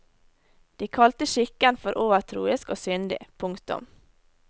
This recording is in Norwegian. De kalte skikken for overtroisk og syndig. punktum